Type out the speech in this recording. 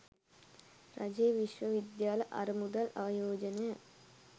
රජයේ විශ්ව විද්‍යාල අර මුදල් ආයෝජනය